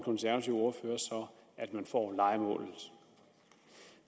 konservative ordfører så at man får lejemålet